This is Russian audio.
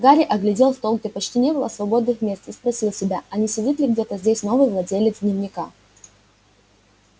гарри оглядел стол где почти не было свободных мест и спросил себя а не сидит ли где-то здесь новый владелец дневника